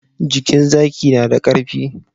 Jikin zaki na da karfi